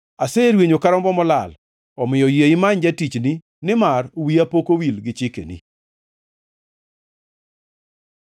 Aserwenyo ka rombo molal, omiyo yie imany jatichni, nimar wiya pok owil gi chikeni.